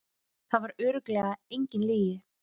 Það var örugglega engin lygi.